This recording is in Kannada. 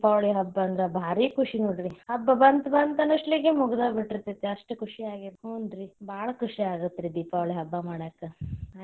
ದೀಪಾವಳಿ ಹಬ್ಬ ಅಂದ್ರ ಬಾರಿ ಖುಷಿ ನೋಡ್ರಿ ಹಬ್ಬ ಬಂತ್ ಬಂತ್ ಅನ್ನೋಷ್ಟೋ ತ್ಲಿಕೆ ಮುಗ್ಡೋದ್ ಬಿಟ್ಟಿರ್ತೇತಿ ಅಷ್ಟ ಖುಷಿಯಾಗೇತಿ ಹುನ್ರಿ ಬಾಳ ಖುಷಿಯಾಗತ್ ರೀ ದೀಪಾವಳಿ ಹಬ್ಬಾ ಮಾಡಾಕ.